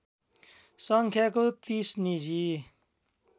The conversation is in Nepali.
सङ्ख्याको ३० निजी